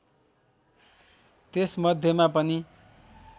त्यस मध्येमा पनि